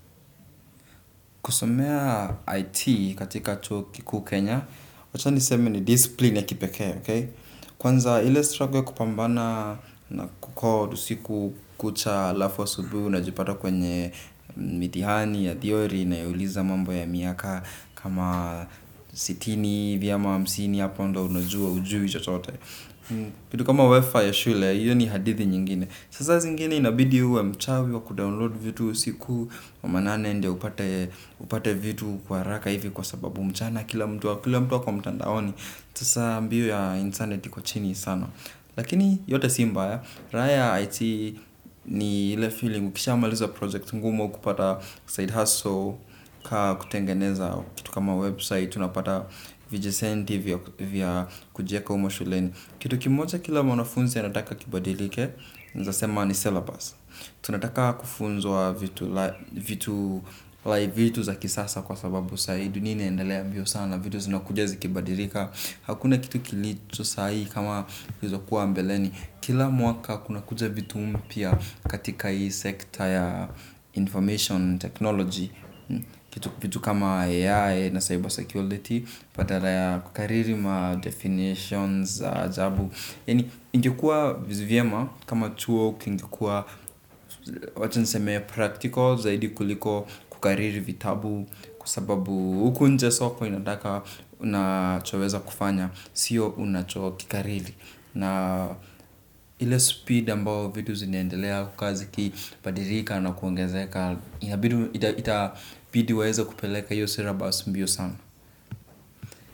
Kusomea IT katika chuo kukuu Kenya, wacha niseme ni disipline ya kipekee, ok? Kwanza ile struggle ya kupambana na kucode usiku kucha alafu asubui unajipata kwenye mitihani ya theory inayouliza mambo ya miaka kama sitini vyama amsini hapo ndo unajua ujui chochote. Kitu kama WiFi ya shule, hiyo ni hadithi nyingine. Sasa zingine inabidi uwe mchawi wa kudownload vitu usiku wa manane ndio upate vitu kwa raka hivi kwa sababu mchana kila mtu ako mtandaoni, sasa mbio ya internet iko chini sana. Lakini yote si mbaya, raha ya IT ni ile feeling ukisha maliza project ngumu au kupata side hustle ka kutengeneza kitu kama website unapata vijesenti vya kujieka humo shuleni. Kitu kimoja kila mwanafunzi anataka kibadilike. Nezasema ni syllabus. Tunataka kufunzwa vitu. Vitu za kisasa kwa sababu sai dunia inaendalea mbio sana vitu zinakuja zikibadilika. Hakuna kitu kilicho sai kama kizokuwa mbeleni. Kila mwaka kuna kuja vitu mpya. Katika hii sekta ya information technology kitu kitu kama AI na cyber security patala ya kukariri ma definitions za ajabu yani ingekua vyema kama chuo kingekua wachaniseme practical zaidi kuliko kukariri vitabu. Kwa sababu huku nje soko inataka unachoweza kufanya. Sio unachokikariri. Na ile speed ambao vitu zinaendelea kazi ikibadilika na kuongezeka inabid itabidi waeze kupeleka iyo syllabus mbio sana.